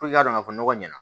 Puruke k'a dɔn ka fɔ nɔgɔ ɲɛna